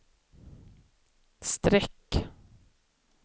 streck